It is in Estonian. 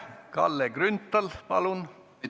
Kalle Grünthal, palun!